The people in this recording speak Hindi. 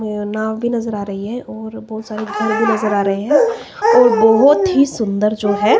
ये नाव भी नजर आ रही है और बहोत सारे घर भी नजर आ रहे हैं और बहोत ही सुंदर जो है--